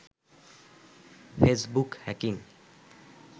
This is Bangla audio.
Facebook hacking